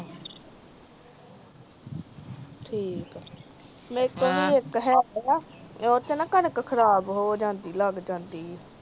ਠੀਕ ਆ ਮੇਰੇ ਤੋਂ ਵੀ ਇਕ ਹੈਗਾ ਵਾ ਓਹਦੇ ਚ ਕਣਕ ਖਰਾਬ ਹੋ ਜਾਂਦੀ ਆ ਲੱਗ ਜਾਂਦੀ ਆ